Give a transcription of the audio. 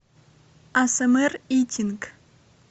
асмр итинг